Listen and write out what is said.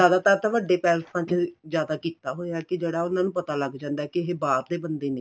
ਜਿਆਦਾਤਰ ਦਾ ਵੱਡੇ ਪੈਲਸਾਂ ਚ ਜਿਆਦਾ ਕੀਤਾ ਹੋਇਆ ਹੈ ਕੀ ਜਿਹੜਾ ਉਹਨਾ ਨੂੰ ਪਤਾ ਲੱਗ ਜਾਂਦਾ ਏ ਕੀ ਇਹ ਬਾਹਰ ਦੇ ਬੰਦੇ ਨੇ